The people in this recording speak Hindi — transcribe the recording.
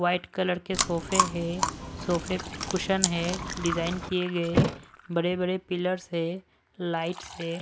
व्हाइट कलर के सोफे है सोफे पे कुशन है डिजाइन किए गए बड़े-बड़े पिलर्स है लाइट्स है।